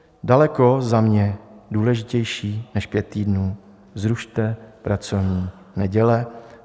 Daleko za mě důležitější než pět týdnů: zrušte pracovní neděle.